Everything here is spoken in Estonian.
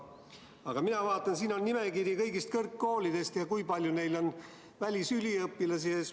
Aga mina vaatan, et siin on nimekiri kõigist kõrgkoolidest ja sellest, kui palju seal on välisüliõpilasi.